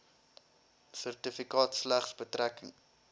sertifikaat slegs betrekking